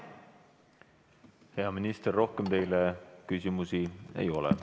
Hea minister, rohkem teile küsimusi ei ole.